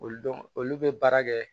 Olu dɔn olu bɛ baara kɛ